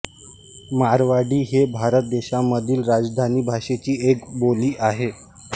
मारवाडी ही भारत देशामधील राजस्थानी भाषेची एक बोली आहे